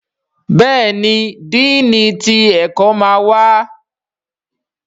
Béèni Dínni tí ẹkọ má wá.